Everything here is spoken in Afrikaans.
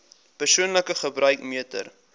persoonlike gebruik meter